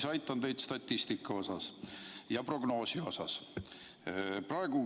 Ma aitan teid statistika ja prognoosiga.